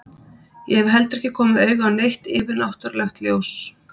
Ég hef heldur ekki komið auga á neitt yfirnáttúrlegt ljós.